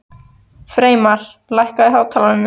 Freymar, lækkaðu í hátalaranum.